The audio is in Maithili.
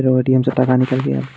फेरो ए.टी.एम. से टका निकाल लिये।